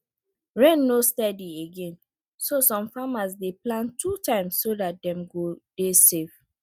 rain no steady again so some farmers dey plant two times so dat dem go dey safe